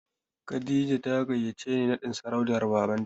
Kadija ta gayyace ni naɗin sarautar Babanta.